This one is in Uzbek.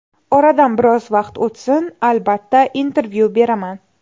Oradan biroz vaqt o‘tsin, albatta, intervyu beraman.